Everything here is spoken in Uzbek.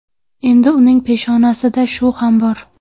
Endi uning peshonasida shu ham bor.